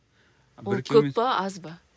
ол көп па аз ба